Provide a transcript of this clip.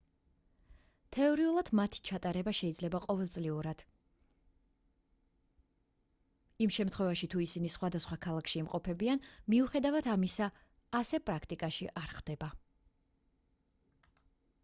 თეორიულად მათ ჩატარება შეიძლება ყოველწლიურად იმ შემთხვევაში თუ ისინი სხვადასხვა ქვეყნებში იმყოფებიან მიუხედავად ამისა ასე პრაქტიკაში არ ხდება